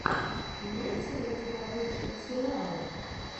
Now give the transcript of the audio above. имеется ли у тебя лучшие сериалы